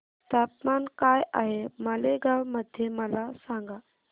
तापमान काय आहे मालेगाव मध्ये मला सांगा